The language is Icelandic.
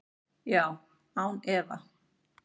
Já, án efa.